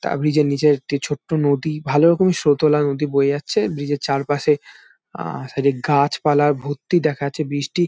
ব্রিজের নিচে একটি ছোট্ট নদী। ভালো রকমই স্রোত ওলা নদী বয়ে যাচ্ছে। ব্রিজের চারপাশে অ্যাঁ গাছপালা ভর্তি দেখা যাচ্ছে। ব্রিজটি --